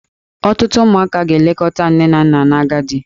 Ọtụtụ ụmụaka ga-elekọta nne na nna n'agadi.